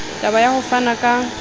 taba ya ho fana ka